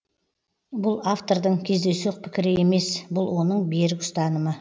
бұл автордың кездейсоқ пікірі емес бұл оның берік ұстанымы